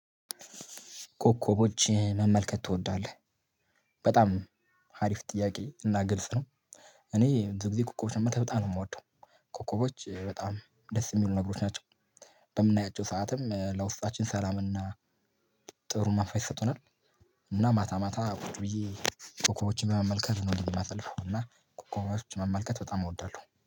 ኮከቦች መመልከት ትወዳለህ በጣም አሪፍ ጥያቄ እና ግልጽ ነው። እኔ ብዙ ጊዜ ኮከቦችን መመልከት ነው የምወደው። ኮከቦች በጣም ደስ የሚሉ ነገሮች ናቸው። በምናያቸው ሰዓትም ለውስጣችን ሰላምና። ጥሩ መንፈስ ይሰጡናል። እና ማታ ማታ ቁጭ ብዬ ኮከቦችን በመመልከት ነው የማሰልፈው እና ኮከቦችን መመልከት በጣም እወዳለሁ